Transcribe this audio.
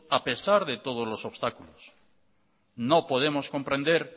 a pesar de todos los obstáculos no podemos comprender